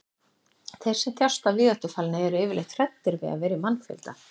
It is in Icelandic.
þeir sem þjást af víðáttufælni eru yfirleitt hræddir við að vera í mannfjölda